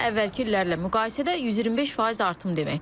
Bu da əvvəlki illərlə müqayisədə 125% artım deməkdir.